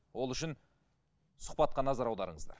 ол үшін сұхбатқа назар аударыңыздар